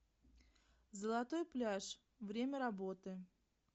золотой пляж время работы